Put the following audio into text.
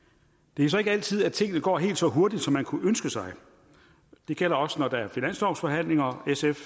det er så ikke altid at tingene går helt så hurtigt som man kunne ønske sig det gælder også når der er finanslovsforhandlinger sf